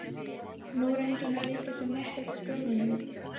Nú reyndi hún að líkja sem mest eftir stöfunum.